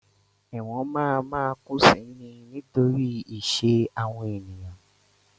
Ẹ̀wọ̀n ma máa kún si ni nítorí ìṣe àwọn ènìyàn.